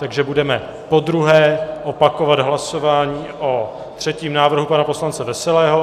Takže budeme podruhé opakovat hlasování o třetím návrhu pana poslance Veselého.